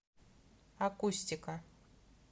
акустика